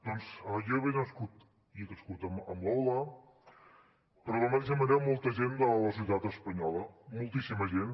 doncs jo he nascut i crescut amb l’hola però de la mateixa manera molta gent de la societat espanyola moltíssima gent